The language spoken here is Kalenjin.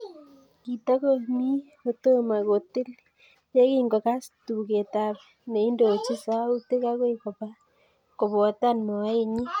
Kitakomi kotomo kotil ye kingogas tugetap neindochini sautik akoi kobotan moenyi